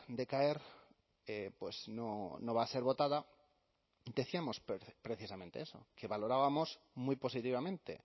decaer no va a ser votada decíamos precisamente eso que valorábamos muy positivamente